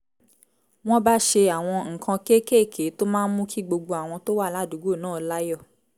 wọ́n bá ṣe àwọn nǹkan kéékèèké tó máa ń mú kí gbogbo àwọn tó wà ládùúgbò náà láyọ̀